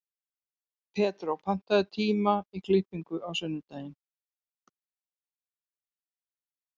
Pedró, pantaðu tíma í klippingu á sunnudaginn.